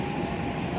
Uzaqdır.